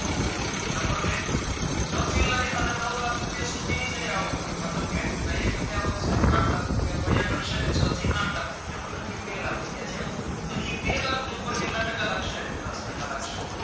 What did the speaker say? છ થી લય અને નવ લાખ રૂપિયા સુધી ની જેની આવક હોય મતલબ કે અહીંયા કેટલી આવક છે આઠલાખ રૂપિયા તો અહીંયા ગણશે કે છ થી આઠલાખ રૂપિયા મતલબ કે બે લાખ લાખ રૂપિયા થયા તો ઈ બે લાખ ની ઉપર કેટલા ટકા લાગશે દસ ટાકા લાગશે